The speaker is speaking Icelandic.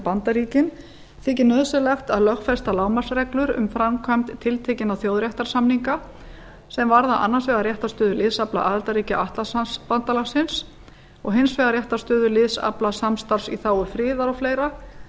bandaríkin þykir nauðsynlegt að lögfesta lágmarksreglur um framkvæmd tiltekinna þjóðréttarsamninga sem varða annars vegar réttarstöðu liðsafla aðildarríkja atlantshafsbandalagsins og hins vegar réttarstöðu liðsafla samstarfs í þágu friðar og fleira